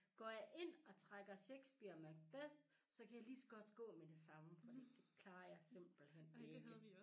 Går jeg ind og trækker Shakespeare Macbeth så kan jeg lige så godt gå med det samme fordi det klarer jeg simpelthen ikke